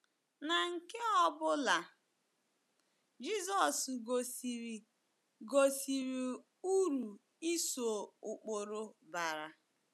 Na nke ọ bụla, Jizọs gosiri gosiri uru ịso ụkpụrụ bara.